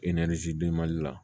la